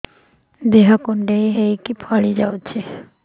ଦେହ କୁଣ୍ଡେଇ ହେଇକି ଫଳି ଯାଉଛି